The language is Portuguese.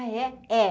Ah, é? é